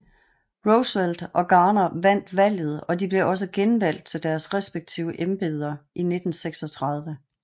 Roosevelt og Garner vandt valget og de blev også genvalgt til deres respektive embeder i 1936